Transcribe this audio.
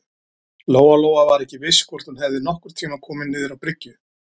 Lóa-Lóa var ekki viss hvort hún hefði nokkurn tíma komið niður á bryggju.